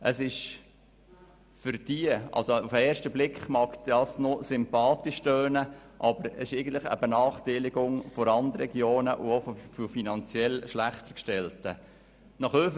Auf den ersten Blick mag er noch sympathisch tönen, aber es ist eine Benachteiligung von Randregionen und finanziell schlechter gestellten Personen.